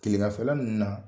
Kileganfɛla ninnu na